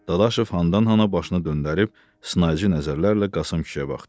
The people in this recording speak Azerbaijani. Dadaşov xandan-xana başını döndərib sınaıcı nəzərlərlə Qasım kişiyə baxdı.